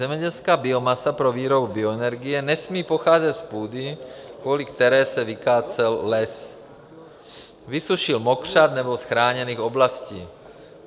Zemědělská biomasa pro výrobu bioenergie nesmí pocházet z půdy, kvůli které se vykácel les, vysušil mokřad, nebo z chráněných oblastí.